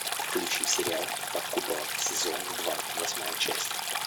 включи сериал под куполом сезон два восьмая часть